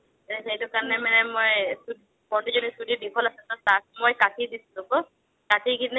সেইটো কাৰণে মানে মই ‌‌‌ কাটি কিনে